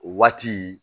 O waati